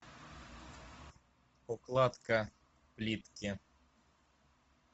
укладка плитки